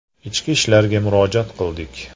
Ichki ishlarga murojaat qildik.